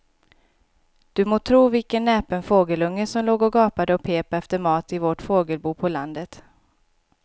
Du må tro vilken näpen fågelunge som låg och gapade och pep efter mat i vårt fågelbo på landet.